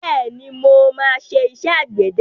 Bẹ́ẹ̀ni, mo máa ṣe iṣẹ́ àgbẹ̀dẹ.